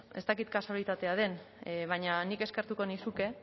ez dakit kasualitatea den baina nik eskertuko nizuke